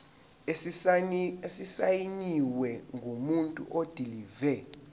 esisayinwe ngumuntu odilive